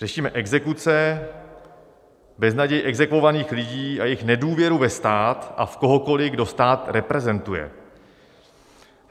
Řešíme exekuce, beznaděj exekuovaných lidí a jejich nedůvěru ve stát a v kohokoliv, kdo stát reprezentuje.